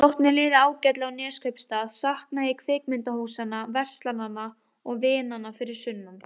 Þótt mér liði ágætlega á Neskaupstað saknaði ég kvikmyndahúsanna, verslananna og vinanna fyrir sunnan.